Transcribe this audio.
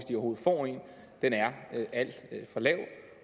en er alt for lav